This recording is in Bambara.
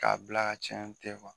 K'a bila ka